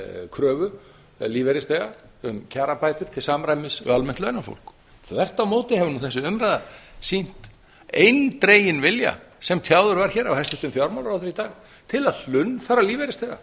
kröfu lífeyrisþega um kjarabætur til samræmis við almennt launafólk þvert á móti hefur þessi umræða sýnt eindreginn vilja sem tjáður var hér af hæstvirtum fjármálaráðherra í dag til að hlunnfara lífeyrisþega